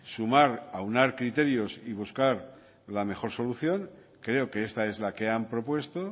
sumar aunar criterios y buscar la mejor solución creo que esta es la que han propuesto